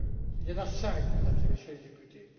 Il y en a cinq, Mesdames et Messieurs les députés.